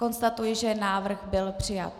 Konstatuji, že návrh byl přijat.